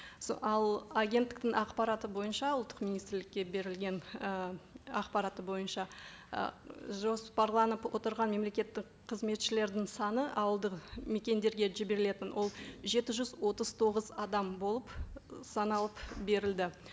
ал агенттіктің ақпараты бойынша ұлттық министрлікке берілген і ақпараты бойынша ы жоспарланып отырған мемлекеттік қызметшілердің саны ауылдық мекендерге жіберілетін ол жеті жүз отыз тоғыз адам болып саналып берілді